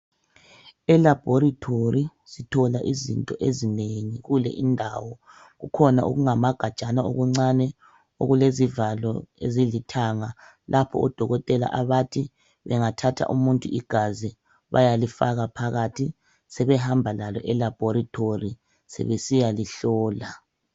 ELaboratory sithola izinto ezinengi kule indawo. Kukhona okungama gajana okuncane okulezivalo ezilithanga lapho odokotela abathi bengathatha umuntu igazi bayalifaka phakathi sebehamba eLaboratory sebesiyalihlola.